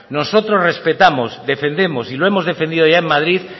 nosotros respetamos defendemos y lo hemos defendido allá en madrid